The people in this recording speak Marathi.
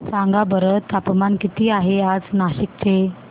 सांगा बरं तापमान किती आहे आज नाशिक चे